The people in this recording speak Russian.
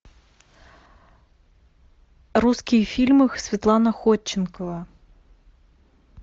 русские фильмы светлана ходченкова